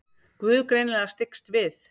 Guð greinilega styggst við.